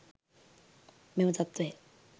මෙම තත්ත්වය